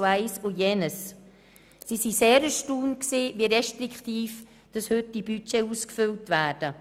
Sie waren sehr erstaunt, wie restriktiv heute die Budgets ausgefüllt werden.